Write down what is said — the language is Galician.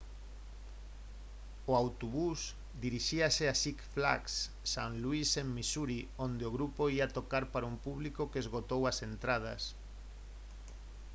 o autobús dirixíase a six flags st louis en missouri onde o grupo ía tocar para un público que esgotou as entradas